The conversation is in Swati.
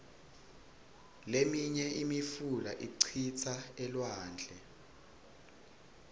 liminye imifula icitsa elwandle